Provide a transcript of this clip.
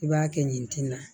I b'a kɛ ɲɛti na